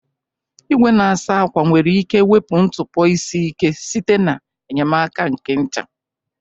Igwe na-asa akwa nwere ike wepu ntụpọ isi ike site n'enyemaka nke ncha.